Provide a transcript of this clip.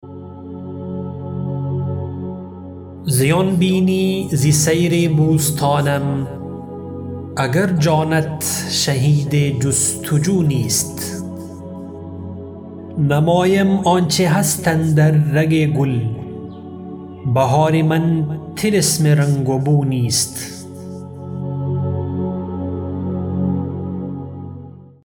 زیان بینی ز سیر بوستانم اگر جانت شهید جستجو نیست نمایم آنچه هست اندر رگ گل بهار من طلسم رنگ و بو نیست